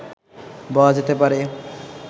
বলা যেতে পারে